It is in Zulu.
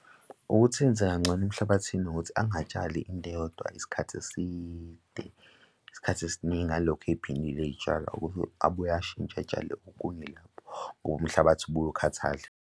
Ukuthi enze kangcono emhlabathini ukuthi angatshali into eyodwa isikhathi eside. Isikhathi esiningi alokhu ey'phindile iy'tshalo abuye ashintshe etshale okunye lapho ngoba umhlabathi ubuye ukhathale.